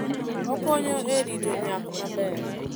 Okonyo e rito nyak maber.